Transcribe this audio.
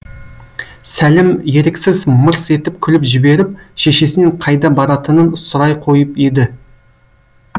сәлім еріксіз мырс етіп күліп жіберіп шешесінен қайда баратынын сұрай қойып еді